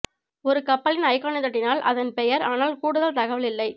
ஒரு கப்பலின் ஐகானைத் தட்டினால் அதன் பெயர் ஆனால் கூடுதல் தகவல் இல்லை